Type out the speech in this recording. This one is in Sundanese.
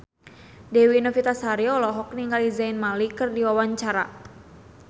Dewi Novitasari olohok ningali Zayn Malik keur diwawancara